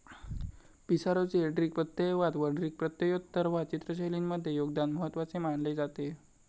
पिसारोचे ड्रिक प्रत्ययवाद व ड्रिक प्रत्ययोत्तरवाद चित्रशैलींमधले योगदान महत्वाचे मानले जाते.